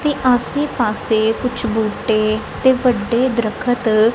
ਤੇ ਆਸੇ ਪਾਸੇ ਕੁਝ ਬੂਟੇ ਤੇ ਵੱਡੇ ਦਰੱਖਤ--